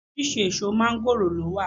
Oríṣiriṣi èso máńgòrò ló wà